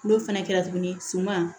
N'o fana kɛra tuguni suman